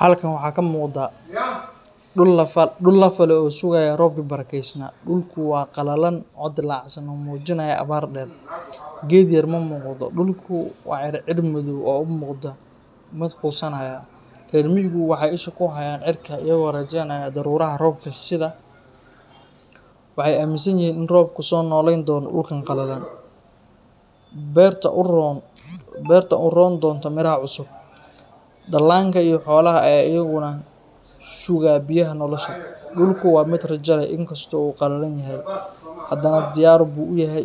Halkan waxa kamuqda duul lafalay o sugaya robka barakeysna duulku wa qalalan o dilacsan o mujinayo abaar dheer ged yar mamuqdo dulka wa cercer madow o muqda mid qusanaya. Re miigu waxay rajeynayan daruuraha robka sida waxay aminsanyahin inu robka so noleyn doono dulkan qalalan. Berta uron o roondonta miraha cusub dalanka iyo xolaha aya uyiguna sugaya biyaha nolasha dulku wa mid raja leeh inkasta u qalalanyahay hadana diyar bu yahay